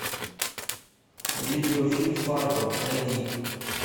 видеофильм фарго найди